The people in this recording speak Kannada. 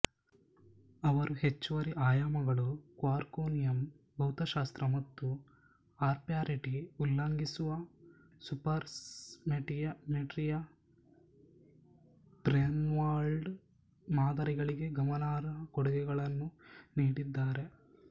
ಅವರು ಹೆಚ್ಚುವರಿ ಆಯಾಮಗಳು ಕ್ವಾರ್ಕೋನಿಯಮ್ ಭೌತಶಾಸ್ತ್ರ ಮತ್ತು ಆರ್ಪ್ಯಾರಿಟಿ ಉಲ್ಲಂಘಿಸುವ ಸೂಪರ್ಸೈಮೆಟ್ರಿಯ ಬ್ರೇನ್ವರ್ಲ್ಡ್ ಮಾದರಿಗಳಿಗೆ ಗಮನಾರ್ಹ ಕೊಡುಗೆಗಳನ್ನು ನೀಡಿದ್ದಾರೆ